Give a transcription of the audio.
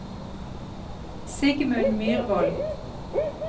Sigmund Myrvold